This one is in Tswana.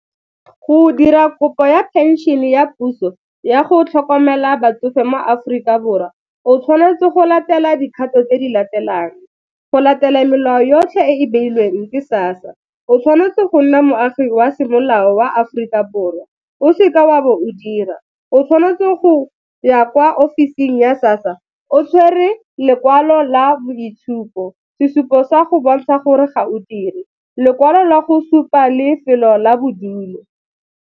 Go dira kopo ya phenšene ya puso ya go tlhokomela batsofe mo Aforika Borwa, o tshwanetse go latela dikgato tse di latelang, go latela melao yotlhe e e beilweng ke SASSA, o tshwanetse go nna moagi wa semolao wa Aforika Borwa, o se ke wa bo o dira. O tshwanetse go ya kwa office-ing ya SASSA o tshwere lekwalo la boitshupo, sesupo sa go bontsha gore ga o dire, lekwalo la go supa lefelo la bodulo.